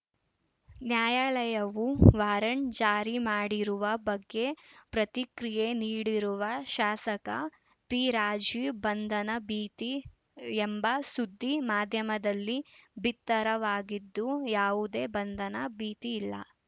ನ್ಯಾಯಾಲಯವು ವಾರಂಟ್‌ ಜಾರಿ ಮಾಡಿರುವ ಬಗ್ಗೆ ಪ್ರತಿಕ್ರಿಯೆ ನೀಡಿರುವ ಶಾಸಕ ಪಿರಾಜೀವ್‌ ಬಂಧನ ಭೀತಿ ಎಂಬ ಸುದ್ದಿ ಮಾಧ್ಯಮದಲ್ಲಿ ಬಿತ್ತರವಾಗಿದ್ದು ಯಾವುದೇ ಬಂಧನ ಭೀತಿ ಇಲ್ಲ